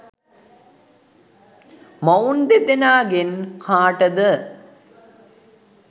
මොවුන් දෙදෙනාගෙන් කාටද